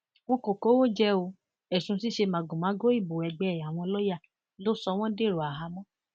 wọn kò kówó jẹ o ẹsùn ṣíṣe màgòmágó ìbò ẹgbẹ àwọn lọọyà ló sọ wọn dèrò àhámọ